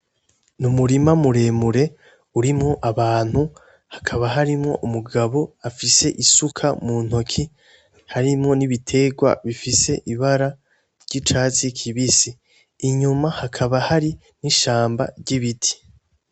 N'umurima muremure urimwo abantu ,hakaba harimwo umugabo afise isuka muntoki, harimwo n'ibiterwa bifise ibara ry'icatsi kibisi, inyuma hakaba Hari n'ishamba vy'ibiti.